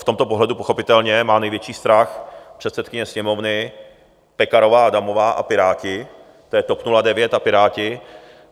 V tomto pohledu pochopitelně má největší strach předsedkyně Sněmovny Pekarová Adamová a Piráti, to je TOP 09 a Piráti.